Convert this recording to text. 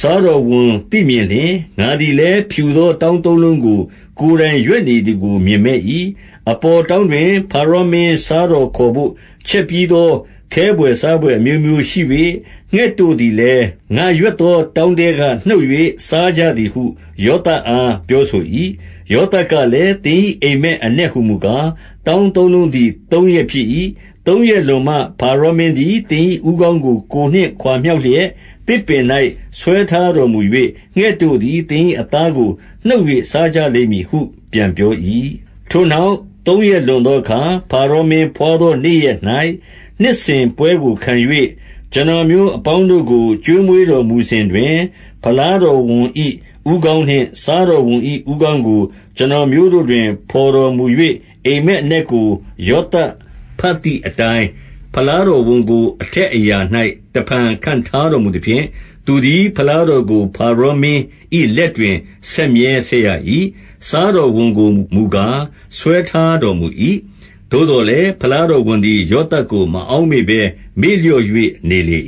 စားတော် ဝန် သိမြင်လျှင်၊ ငါသည်လည်း ဖြူသောတောင်းသုံးလုံးကို ကိုယ်တိုင်ရွက်နေသည်ကို မြင်မက်၏။ 17 အပေါ်တောင်းတွင် ဖါရောမင်းစားတော်ခေါ် ဘို့ ချက်ပြီးသော ခဲဘွယ်စားဘွယ် အမျိုးမျိုးရှိ၍၊ ငှက်တို့သည်လည်း ငါရွက်သော တောင်းထဲကနှုတ်၍ စားကြသည်ဟု ယောသပ်အား ပြောဆို၏။ 18 ယောသပ်ကလည်း၊ သင်၏အိပ်မက် အနက်ဟူ မူကား၊ တောင်းသုံးလုံးသည် သုံးရက်ဖြစ်၏။ 19 သုံးရက်လွန်မှ ဖါရောမင်းသည် သင်၏ဦးခေါင်း ကို ကိုယ်နှင့်ခွါ မြှောက်လျှက် သစ်ပင်၌ဆွဲထားတော်မူ၍၊ ငှက်တို့သည် သင်၏အသားကို နှုတ်၍စားကြလိမ့်မည်ဟု ပြန်ပြော၏။ 20 ထိုနောက် သုံးရက်လွန်သောအခါ၊ ဖါရောမင်း ဘွားသောနေ့ရက်၌ နှစ်စဉ်ပွဲကိုခံ၍ ကျွန်တော်မျိုး အပေါင်းတို့ကို ကျွေးမွေးတော်မူစဉ်တွင်၊ ဖလားတော်ဝန် ၏ဦးခေါင်းနှင့် စားတော်ဝန်၏ဦးခေါင်းကို ကျွန်တော်မျိုး တို့တွင် ဖေါ်တော်မူ၍၊ 21 အိပ်မက်အနက်ကို ယောသပ်ဘတ်သည် အတိုင်း၊ ဖလားတော်ဝန်ကို အထက်အရာ၌ တဖန် ခန့်ထားတော်မူသဖြင့်၊ သူသည်ဖလားတော်ကို ဖါရော မင်း၏လက်တွင် ဆက်မြဲဆက်ရ၏။ 22 စားတော်ဝန်ကိုမူကား၊ ဆွဲထားတော်မူ၏။ 23 သို့သော်လည်း ဖလားတော်ဝန်သည် ယောသပ် ကို မအောက်မေ့ဘဲ မေ့လျော့၍နေလေ